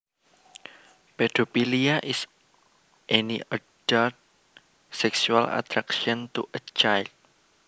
Pedophilia is any adult sexual attraction to a child